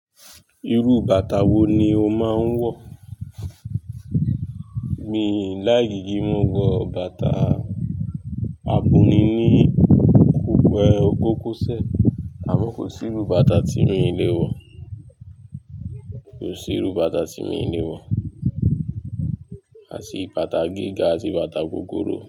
Irú bàtà wo ni o máa ń wọ̀? Mi láìkí, kin mo wọ bàtà abọ̀ni ní kokose, àmọ́ kò sí irú bàtà tí mi ò lè wọ̀. Kò sí irú bàtà tí mo ì lè wọ̀. A tì bàtà gíga àti bàtà gogoro.